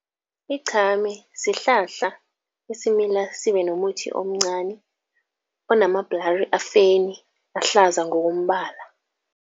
Iqhame sihlahla esimila sibe nomuthi omncani, onamabhlari afeni, ahlaza ngokombala.